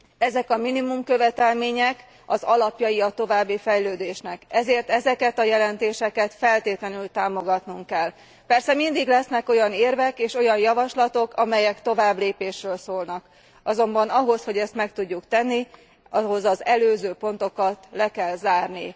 Ezek a minimum követelmények az alapjai a további fejlődésnek, ezért ezeket a jelentéseket feltétlenül támogatnunk kell. Persze mindig lesznek olyan érvek és olyan javaslatok, amelyek továbblépésről szólnak, azonban ahhoz, hogy ezt meg tudjuk tenni, ahhoz az előző pontokat le kell zárni.